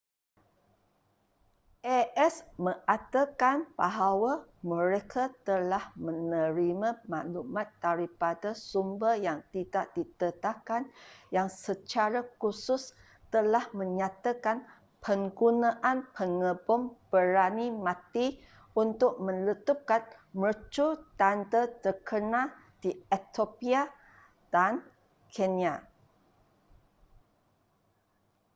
a.s. mengatakan bahawa mereka telah menerima maklumat daripada sumber yang tidak didedahkan yang secara khusus telah menyatakan penggunaan pengebom berani mati untuk meletupkan mercu tanda terkenal di ethiopia dan kenya